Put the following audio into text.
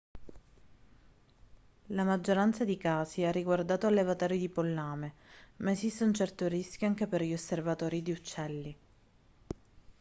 la maggioranza di casi ha riguardato allevatori di pollame ma esiste un certo rischio anche per gli osservatori di uccelli